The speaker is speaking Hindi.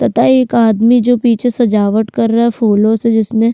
तथा एक आदमी जो पीछे सजावट कर रहा है फूलो से जिसमें।